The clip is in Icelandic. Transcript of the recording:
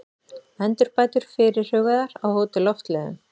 Endurbætur fyrirhugaðar á Hótel Loftleiðum